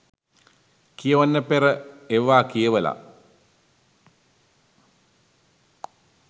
කියවන්න පෙර ඒවා කියවලා